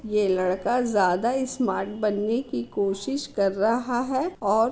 यह लरका ज्यादा स्मार्ट बनने की कोशिश कर रहा है और --